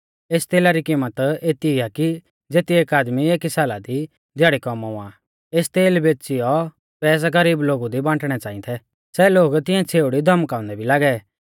एस तेला री कीमत एती आ कि ज़ेती एक आदमी एकी साला दी ध्याड़ी कौमावा आ एस तेल बेच़ियौ पैसै गरीब लोगु दी बांटणै च़ांई थै सै लोग तिऐं छ़ेउड़ी धौमकाउंदै भी लागै